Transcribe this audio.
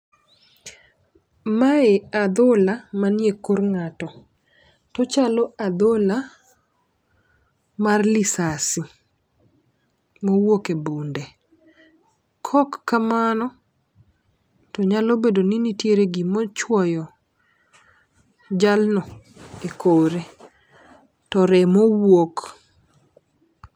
Mae adhola manie kor ng'ato to chalo adhola mar lisasi mowuok e bunde . Kok kamano to nyalo bedo ni nitie gimochuoyo jalno e kore to remo wuok.